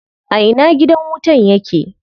A ina gidan wutan yake?